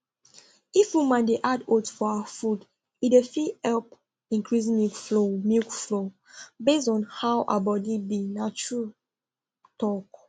if woman de add oats for her food e fit help increase milk flow milk flow based on how her body be na true talk